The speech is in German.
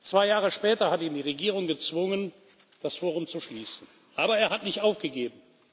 Zwei Jahre später hat ihn die Regierung gezwungen, das Forum zu schließen. Aber er hat nicht aufgegeben.